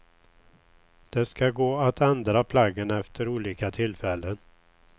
Det ska gå att ändra plaggen efter olika tillfällen.